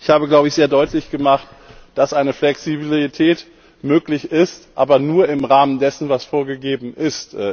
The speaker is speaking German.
Ich habe, glaube ich, sehr deutlich gemacht, dass eine Flexibilität möglich ist, aber nur im Rahmen dessen, was vorgegeben ist.